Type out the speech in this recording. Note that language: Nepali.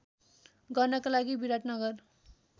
गर्नका लागि विराटनगर